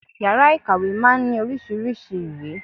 Yàrá ìkàwé máa ń ní oríṣiríṣei ìwé